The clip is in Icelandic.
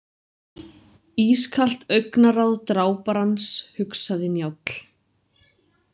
Ískalt augnaráð dráparans, hugsaði Njáll.